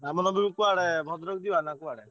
ରାମନବମୀ କୁଆଡେ ଭଦ୍ରକ ଯିବା ନା କୁଆଡେ?